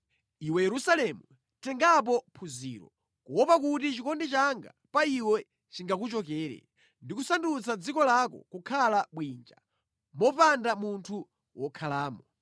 Iwe Yerusalemu, tengapo phunziro, kuopa kuti chikondi changa pa iwe chingakuchokere ndi kusandutsa dziko lako kukhala bwinja mopanda munthu wokhalamo.”